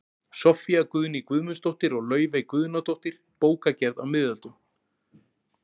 Soffía Guðný Guðmundsdóttir og Laufey Guðnadóttir, Bókagerð á miðöldum